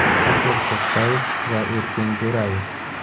Ashur To‘xtayev va Erkin Jo‘rayev.